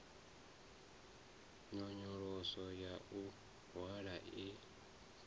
nyonyoloso ya u hwala i